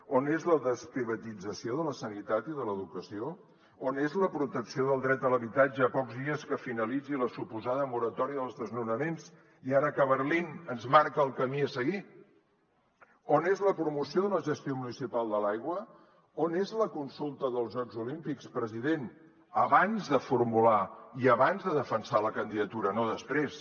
on és la desprivatització de la sanitat i de l’educació on és la protecció del dret a l’habitatge a pocs dies que finalitzi la suposada moratòria dels desnonaments i ara que berlín ens marca el camí a seguir on és la promoció de la gestió municipal de l’aigua on és la consulta dels jocs olímpics president abans de formular i abans de defensar la candidatura no després